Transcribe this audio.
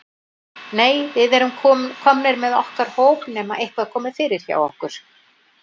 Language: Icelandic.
Nei, við erum komnir með okkar hóp nema eitthvað komi fyrir hjá okkur.